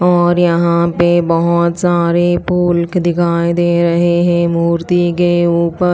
और यहां पे बहोत सारे फूल दिखाई दे रहे हैं मूर्ति के ऊपर--